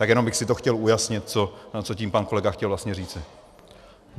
Tak jenom bych si to chtěl ujasnit, co tím pan kolega chtěl vlastně říci.